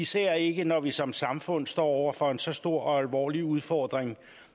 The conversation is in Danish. især ikke når vi som samfund står over for en så stor og alvorlig udfordring